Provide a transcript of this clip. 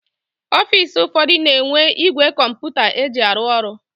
Ọfisi ụfọdụ na-enwe igwe kọmputa eji arụ ọrụ.